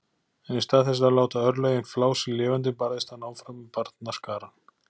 En í stað þess að láta örlögin flá sig lifandi barðist hann áfram með barnaskarann.